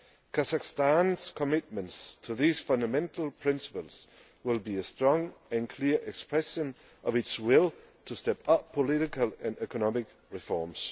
law. Kazakhstan's commitments to these fundamental principles will be a strong and clear expression of its will to step up political and economic reforms.